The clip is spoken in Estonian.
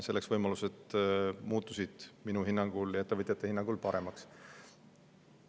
Need võimalused muutusid minu hinnangul ja ettevõtjate hinnangul paremaks.